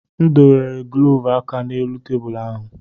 M dobere glọvu aka n'elu tebụl ahụ.